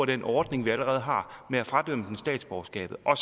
den ordning vi allerede har og fradømmer dem statsborgerskabet og